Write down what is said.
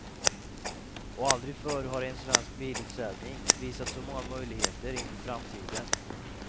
Och aldrig förr har en svensk bilutställning visat så många möjligheter inför framtiden.